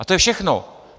A to je všechno.